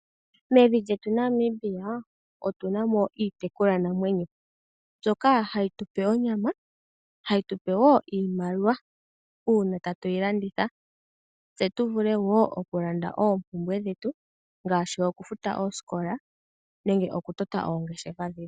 Mevi lyetu Namibia otu na mo iitekulwa namwenyo mbyoka hayi tupe onyama hayi tupe woo iimaliwa uuna tatu yi landitha, tse tuvule wo okulanda oopumbwe dhetu ngaashi okufuta oosikola, nenge okutota oongeshefa dhetu.